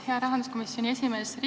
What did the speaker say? Hea rahanduskomisjoni esimees!